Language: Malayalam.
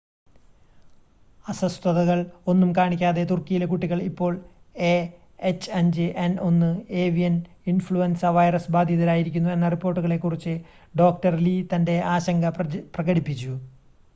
അസ്വസ്ഥതകൾ ഒന്നും കാണിക്കാതെ തുർക്കിയിലെ കുട്ടികൾ ഇപ്പോൾ എഎച്ച്5എൻ1 ഏവിയൻ ഇൻഫ്ലുൻസ വൈറസ് ബാധിതരായിരിക്കുന്നു എന്ന റിപ്പോർട്ടുകളെ കുറിച്ച് ഡോക്ടർ ലീ തന്റെ ആശങ്ക പ്രകടിപ്പിച്ചു